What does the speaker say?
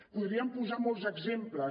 en podríem posar molts exemples